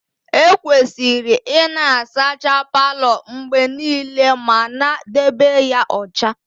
Ekwesịrị ịna azacha Palo mgbe niile ma na debe ya ọcha